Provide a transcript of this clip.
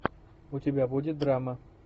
у тебя будет драма